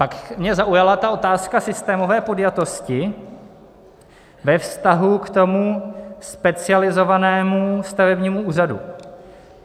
Pak mě zaujala ta otázka systémové podjatosti ve vztahu k tomu specializovanému stavebnímu úřadu.